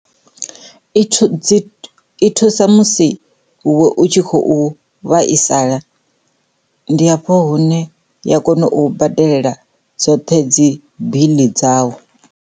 I thu, dzi i thusa musi u tshi khou vhaisala ndi hafho hune ya kona u badelela dzoṱhe dzi biḽi dzau.